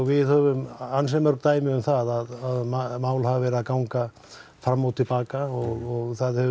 við höfum ansi mörg dæmi um það að mál hafi verið að ganga fram og til baka og það